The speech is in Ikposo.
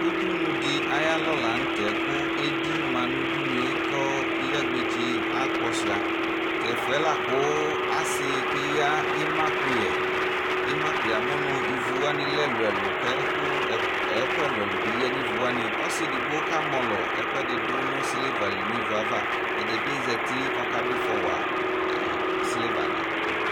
Ʋdʋnʋdi ayʋ alɔ lanʋte kʋ edi ma nʋ ʊdʋnʋe kʋ iyagbetse akpɔ suia tɛƒʋ yɛ lakʋ asi keya ima kʋyɛ yamʋnʋ ivʋ wani lɛ ɛlʋ ɛlʋ kʋ ɛkʋ ɛlʋ ɛlʋ biya nʋ iwʋ wani ɔsi edigbo kamɔlɔ ɛkʋ ɛdi dʋ nʋ silivali nʋ ivʋ yɛ ava ɛdibi zati kʋ ɔka dʋ ifɔwa silivadi